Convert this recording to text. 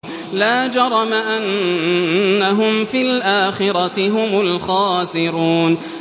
لَا جَرَمَ أَنَّهُمْ فِي الْآخِرَةِ هُمُ الْخَاسِرُونَ